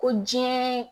Ko diɲɛ